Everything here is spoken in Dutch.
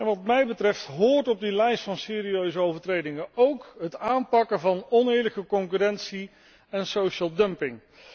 Wat mij betreft hoort op die lijst van serieuze overtredingen ook het aanpakken van oneerlijke concurrentie en social dumping